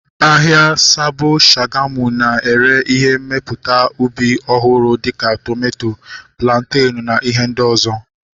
Ahịa Sabo Shagamu na-ere ihe mmepụta ubi ọhụrụ dịka tomato, plantenu na ihe ndị ọzọ